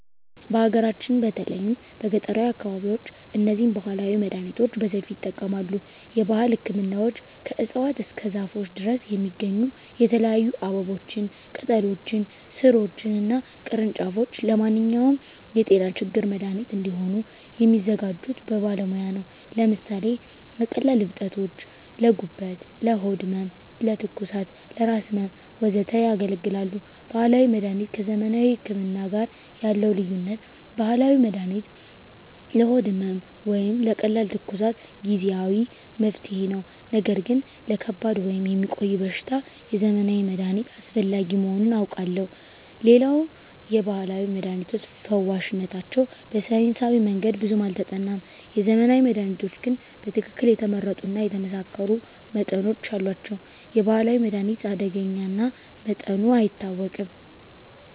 በሀገራችን በተለይም በገጠራዊ አካባቢዎች እነዚህን ባህላዊ መድሃኒቶች በሰፊው ይጠቀማሉ። የባህል ህክምናዎች ከእፅዋት እስከ ዛፎች ድረስ የሚገኙ የተለያዩ አበቦችን፣ ቅጠሎችን፣ ሥሮችን እና ቅርንጫፎች ለማንኛውም የጤና ችግር መድሃኒት እንዲሆኑ የሚያዘጋጁት በባለሙያ ነው። ለምሳሌ ለቀላል እብጠቶች: ለጉበት፣ ለሆድ ህመም፣ ለትኩሳት፣ ለራስ ህመም፣ ወዘተ ያገለግላሉ። ባህላዊ መድሀኒት ከዘመናዊ ህክምና ጋር ያለው ልዩነት፦ ባህላዊ መድሃኒት ለሆድ ህመም ወይም ለቀላል ትኩሳት ጊዜአዊ መፍትሄ ነው። ነገር ግን ለከባድ ወይም የሚቆይ በሽታ የዘመናዊ መድሃኒት አስፈላጊ መሆኑን አውቃለሁ። ሌላው የባህላዊ መድሃኒቶች ፈዋሽነታቸው በሳይንሳዊ መንገድ ብዙም አልተጠናም። የዘመናዊ መድሃኒቶች ግን በትክክል የተመረጡ እና የተመሳከሩ መጠኖች አሏቸው። የባህላዊ መድሃኒት አደገኛ እና መጠኑ አይታወቅም።